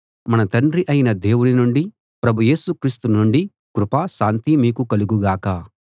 మన తండ్రి అయిన దేవుని నుండీ ప్రభు యేసు క్రీస్తు నుండీ కృప శాంతి మీకు కలుగు గాక